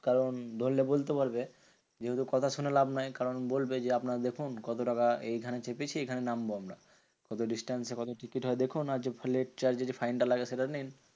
কারণ ধরলে বলতে পারবে, যেহেতু কথা শুনে লাভ নেই কারণ বলবে যে, আপনারা দেখুন কত টাকা এইখানে চেপেছি এইখানে নামবো আমরা। কত distance এ কত টিকিট হয় দেখুন? আর late charge এ fine টা লাগে সেটা নিন।